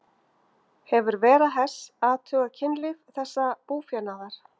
Hefur Vera Hess athugað kynlíf þessa búfénaðar?